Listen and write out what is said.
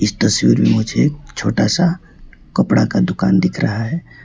इस तस्वीर मुझे एक छोटा सा कपड़ा का दुकान दिख रहा है।